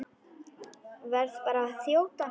Verð bara að þjóta!